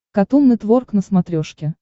катун нетворк на смотрешке